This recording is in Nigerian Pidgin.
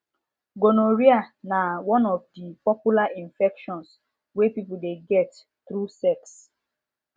gonorrhea na one of the popular infections wey people de get through sex